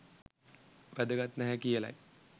වැදගත් නැහැ කියලයි